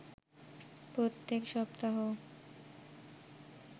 প্রত্যেক সপ্তাহ